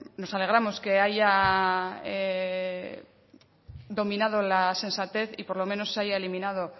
nos alegramos que haya dominado la sensatez y por lo menos se haya eliminado